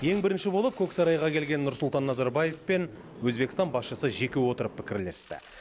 ең бірінші болып көксарайға келген нұрсұлтан назарбаев пен өзбекстан басшысы жеке отырып пікірлесті